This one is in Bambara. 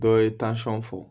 Dɔ ye fɔ